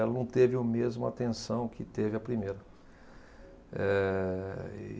Ela não teve a mesma atenção que teve a primeira. Ehh